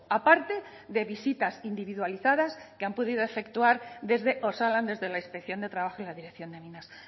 aparte de visitas individualizadas que han podido de efectuar desde osalan desde la inspección de trabajo y la dirección de minas